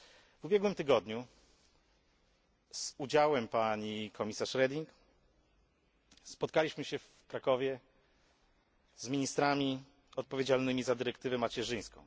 W ubiegłym tygodniu z udziałem pani komisarz Reding spotkaliśmy się w Krakowie z ministrami odpowiedzialnymi za dyrektywę macierzyńską.